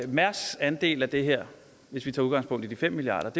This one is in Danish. mærsks andel af det her hvis vi tager udgangspunkt i de fem milliard